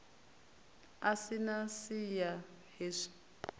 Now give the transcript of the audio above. a si na siya hezwi